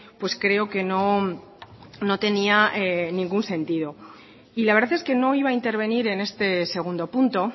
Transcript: pues creo que no tenía ningún sentido y la verdad es que no iba a intervenir en este segundo punto